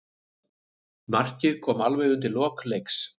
Markið kom alveg undir lok leiks.